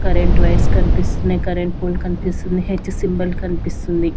Current wires కన్పిస్తున్నాయ్ current pole కన్పిస్తుంది H symbol కన్పిస్తుంది.